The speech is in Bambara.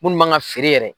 Munnu man ka feere yɛrɛ